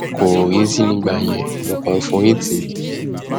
kò yìísì nígbà yẹn mo kàn ń forí tì í ni